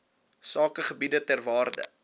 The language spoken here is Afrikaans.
sakegebiede ter waarde